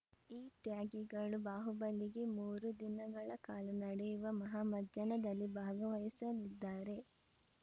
ಈ ತ್ಯಾಗಿಗಳು ಬಾಹುಬಲಿಗೆ ಮೂರು ದಿನಗಳ ಕಾಲ ನಡೆಯುವ ಮಹಾಮಜ್ಜನದಲ್ಲಿ ಭಾಗವಹಿಸಲಿದ್ದಾರೆ